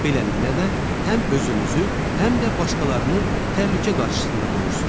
Beləliklə də həm özünüzü, həm də başqalarını təhlükə qarşısında qoyursunuz.